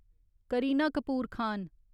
Kareena Kapoor Khan